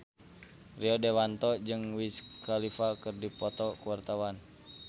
Rio Dewanto jeung Wiz Khalifa keur dipoto ku wartawan